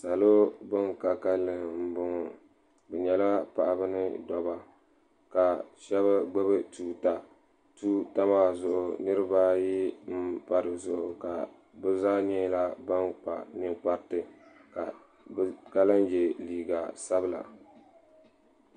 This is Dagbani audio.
salo bin ka kanli n bɔŋɔ bi nyɛla paɣaba ni doba ka shab gbubi tuuta tuuta maa zuɣu niraba ayi n pa dizuɣu ka bi zaa nyɛla ban kpa ninkpariti ka lahi yɛ liiga sabila